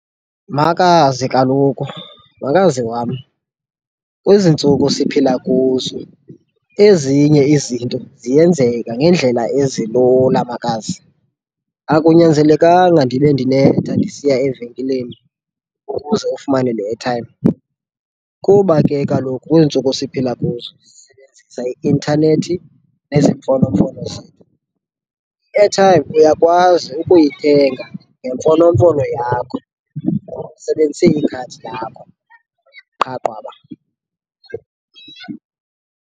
Makazi, kaloku, makazi wam kwezi ntsuku siphila kuzo ezinye izinto ziyenzeka ngendlela ezilula, makazi. Akunyanzelekanga ndibe ndinetha ndisiya evenkileni ukuze ufumane le airtime, kuba ke kaloku kwiintsuku siphila kuzo sisebenzisa i-intanethi nezi mfonomfono zethu. I-airtime uyakwazi ukuyithenga ngemfonomfono yakho, usebenzise ikhadi lakho qha qwaba.